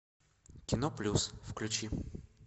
кино плюс включи